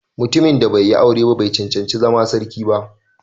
Mutumin da bai yi aure ba bai cancanci zama sarki ba